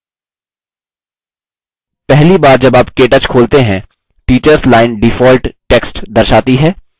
पहली बार जब आप केthe खोलते हैं teachers line default text दर्शाती है